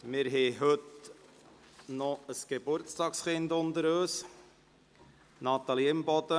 Wir haben noch ein Geburtstagskind unter uns: Natalie Imboden.